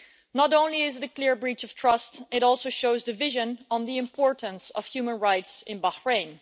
Not only is it a clear breach of trust, it also shows division on the importance of human rights in Bahrain.